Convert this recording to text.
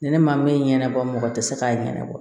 Ni ne ma min ɲɛnabɔ mɔgɔ tɛ se k'a ɲɛnabɔ